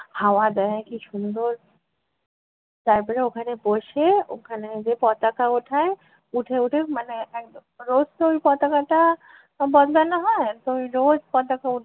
হাওয়া দেয় কী সুন্দর! তারপরে ওখানে বসে ওখানে যে পতাকা ওঠায় উঠে উঠে মানে একদম রোজ তো ওই পতাকাটা আহ বদলানো হয় তো ওই রোজ পতাকা